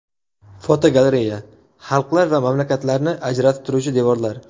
Fotogalereya: Xalqlar va mamlakatlarni ajratib turuvchi devorlar.